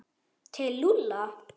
Til Lúlla?